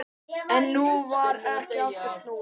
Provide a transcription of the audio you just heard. En nú var ekki aftur snúið.